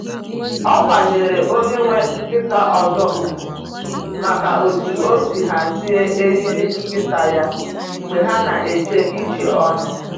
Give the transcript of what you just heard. Ọ kwanyeere onye nwe nkịta ọzọ ugwu maka otú o si hazie eriri nkịta ya mgbe ha na-eje ije ọnụ.